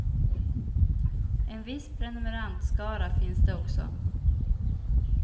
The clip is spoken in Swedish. En viss prenumerantskara finns det också.